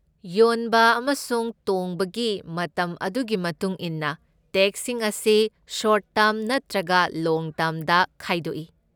ꯌꯣꯟꯕ ꯑꯃꯁꯨꯡ ꯇꯣꯡꯕꯒꯤ ꯃꯇꯝ ꯑꯗꯨꯒꯤ ꯃꯇꯨꯡ ꯏꯟꯅ, ꯇꯦꯛꯁꯁꯤꯡ ꯑꯁꯤ ꯇꯣꯔꯠ ꯇꯔꯝ ꯅꯠꯇ꯭ꯔꯒ ꯂꯣꯡ ꯇ꯭ꯔꯝꯗ ꯈꯥꯏꯗꯣꯛꯏ꯫